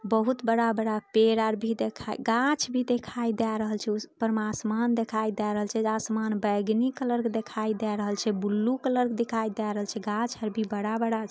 बहुत बड़ा-बड़ा पेड़ और भी दिखाई गाछ भी दिखाई दे रहल छे। ऊपर में आसमान दिखाई दे रहल छे। आसमान बैगनी कलर के दिखाई दे रहल छे ब्लू कलर के दिखाई दे रहल छे। गाछ और भी है बड़ा-बड़ा --